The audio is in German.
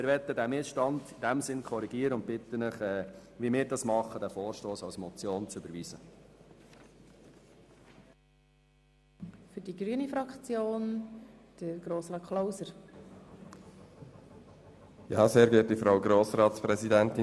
Wir möchten diesen Missstand korrigieren und bitten Sie, den Vorstoss als Motion zu überweisen, wie wir das tun.